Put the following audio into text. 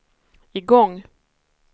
igång